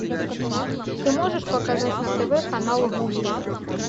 ты можешь показать на тв канал гулли